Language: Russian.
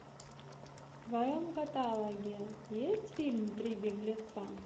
в твоем каталоге есть фильм три беглеца